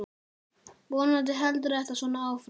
Vonandi heldur þetta svona áfram.